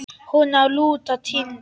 Hún á að lúta Tindi.